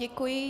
Děkuji.